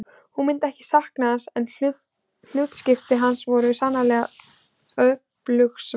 Hún myndi ekki sakna hans en hlutskipti hans var sannarlega ekki öfundsvert.